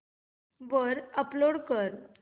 वर अपलोड कर